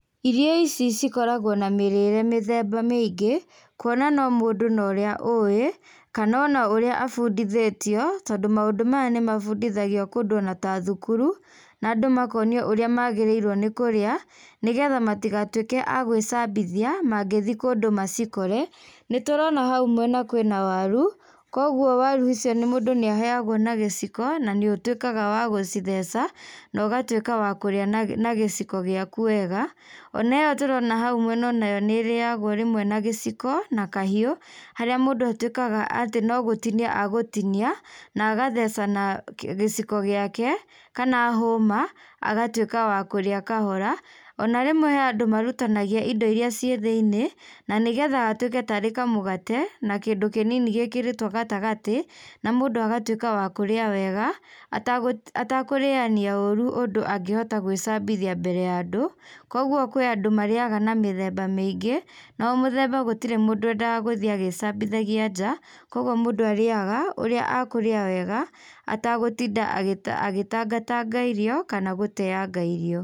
Irio ici cikoragwo na mĩrĩre mĩthemba mĩingĩ kuona no mũndũ na ũrĩa ũwĩ kana ona ũrĩa abundithĩtio tondũ maũndũ ta maya nĩ mabundithagio kũndũ o ta thukuru na andũ makonio ũrĩa magĩrĩirwo nĩ kũria nĩgetha matigatũike agwĩcambithia mangĩthiĩ kũndũ macikore. Nĩtũrona haũ mwena kwĩ na waru, kogwo waru icio mũndũ nĩ aheyagwo na gĩciko na nĩũtuĩkaga wa gũcitheca na ũgatũĩka wa kũrĩa na gĩciko ciaku wega. Oneyo tũrona hau mwena nayo nĩĩrĩyagwo rĩmwe na gĩciko na kahiũ, harĩa mũndũ atuĩkaga no gũtinia egũtinia na agatheca na gĩciko ciake kana hũma agatuĩka wa kũrĩa kahora. O na rĩmwe he andũ marutanagia indo irĩa cĩ thĩiniĩ na nĩgetha gatuĩke tarĩ kamũgate na kĩndũ kĩnini gĩkĩrĩtwo gatagatĩ, na mũndũ agatuĩka wakũrĩa wega atakũrĩyania ũru ũndũ angĩhota gwĩcambithia mbere ya andũ. Kogwo kwĩ andũ marĩyaga na mĩthemba mĩingĩ na o mũthemba gũtirĩ mũndũ wendaga gũthiĩ agĩcambithagia nja kwoguo mũndũ arĩyaga ũrĩa akũrĩa wega atagũtinda agĩtangatanga irio kana gũteyanga irio.